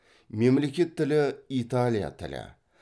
мемлекеттік тілі италия тілі